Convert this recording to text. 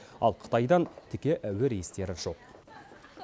ал қытайдан тіке әуе рейстері жоқ